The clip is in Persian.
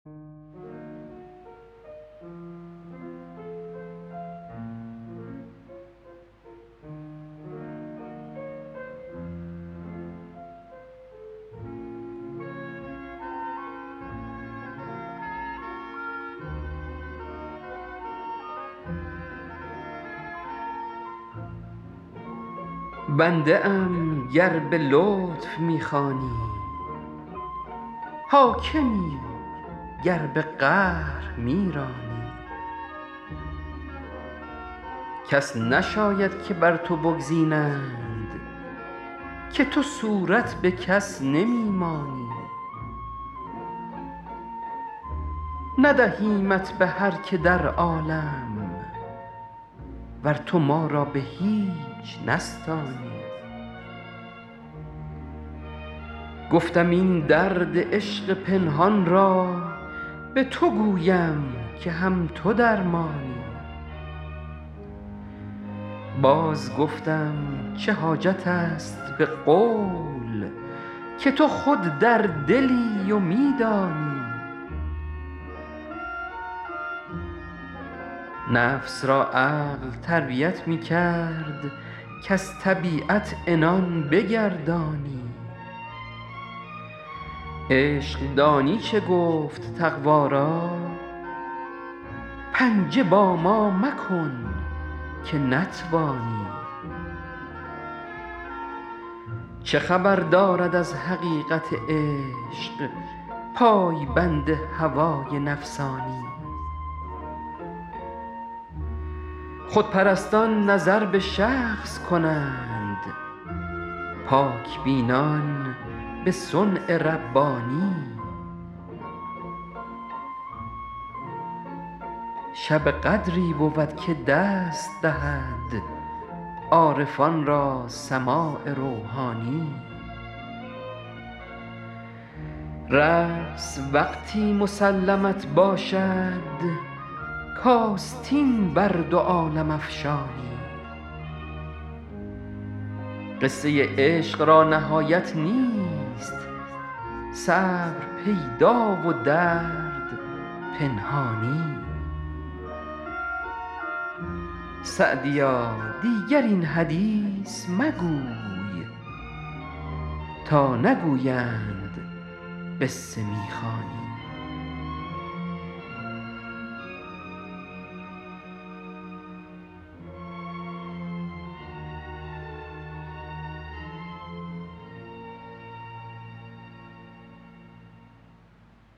بنده ام گر به لطف می خوانی حاکمی گر به قهر می رانی کس نشاید که بر تو بگزینند که تو صورت به کس نمی مانی ندهیمت به هر که در عالم ور تو ما را به هیچ نستانی گفتم این درد عشق پنهان را به تو گویم که هم تو درمانی باز گفتم چه حاجت است به قول که تو خود در دلی و می دانی نفس را عقل تربیت می کرد کز طبیعت عنان بگردانی عشق دانی چه گفت تقوا را پنجه با ما مکن که نتوانی چه خبر دارد از حقیقت عشق پای بند هوای نفسانی خودپرستان نظر به شخص کنند پاک بینان به صنع ربانی شب قدری بود که دست دهد عارفان را سماع روحانی رقص وقتی مسلمت باشد کآستین بر دو عالم افشانی قصه عشق را نهایت نیست صبر پیدا و درد پنهانی سعدیا دیگر این حدیث مگوی تا نگویند قصه می خوانی